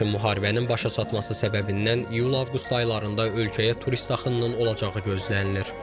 Lakin müharibənin başa çatması səbəbindən iyul-avqust aylarında ölkəyə turist axınının olacağı gözlənilir.